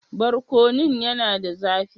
Barkonun yana da zafi?